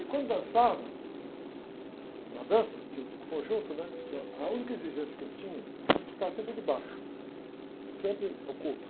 E como dançava, na dança, né? Tinha uh, o conjunto, eu, a única exigência que eu tinha era ficar sempre de baixo, sempre oculto.